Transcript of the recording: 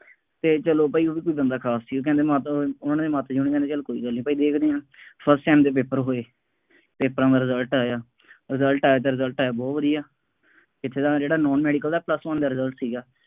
ਅਤੇ ਚੱਲੋ ਭਾਈ ਉਹਨਾ ਦਾ ਕੋਈ ਬੰਦਾ ਖਾਸ ਸੀ, ਉਹ ਕਹਿੰਦੇ ਮਾਤਾ ਦਾ, ਉਹਨਾ ਨੇ ਮਾਤਾ ਜੀ ਉਹਨਾ ਨੂੰ ਕਹਿੰਦੇ ਚੱਲੋ ਕੋਈ ਗੱਲ ਨਹੀਂ, ਭਾਈ ਦੇ ਦਿੰਦੇ ਹਾਂ, first sem ਦੇ paper ਹੋਏ, ਪੇਪਰਾਂ ਦਾ result ਆਇਆ, result ਆਇਆ ਤਾਂ result ਆਇਆ ਬਹੁਤ ਵਧੀਆ, ਪਿਛਲਾ ਜਿਹੜਾ ਨਾਨ ਮੈਡੀਕਲ ਦਾ plus one ਦਾ result ਸੀਗਾ।